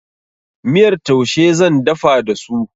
Miyar taushe zan dafa da su.